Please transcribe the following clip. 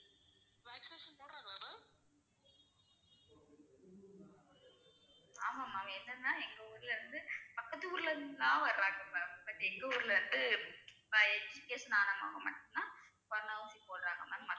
ஆமா ma'am என்னனா எங்க ஊர்ல இருந்து பக்கத்து ஊர்ல இருந்துலாம் வர்றாங்க ma'ambut எங்க ஊர்ல இருந்து corona ஊசி போடறாங்க ma'am